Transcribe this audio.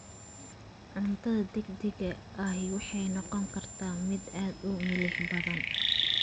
Cuntada degdega ahi waxay noqon kartaa mid aad u milix badan.